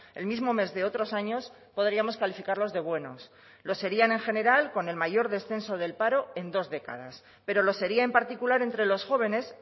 el mismo mes de otros años podríamos calificarlos de buenos lo serían en general con el mayor descenso del paro en dos décadas pero lo sería en particular entre los jóvenes